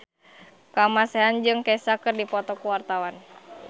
Kamasean jeung Kesha keur dipoto ku wartawan